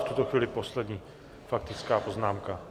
V tuto chvíli poslední faktická poznámka.